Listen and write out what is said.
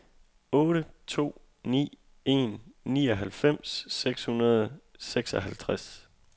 otte to ni en nioghalvfems seks hundrede og seksoghalvtreds